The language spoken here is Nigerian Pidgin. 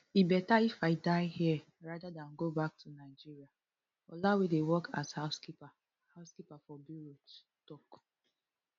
e beta if i die here rather dan go back to nigeriaadeola wey dey work as housekeeper housekeeper for beirut tok